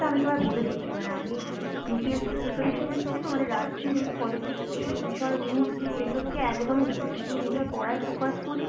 আমি তোমায় বলে দিচ্ছি মানে আমি UPSC preparation নিচ্ছি তো মানে রাজ্যের এই politics এই বিষয় news টিউজ এগুলো থেকে একদমই দূরে। শুধু নিজের পড়ায় focus করি